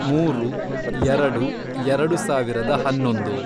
ಮೂರು, ಎರೆಡು, ಎರೆಡು ಸಾವಿರದ ಹನ್ನೊಂದು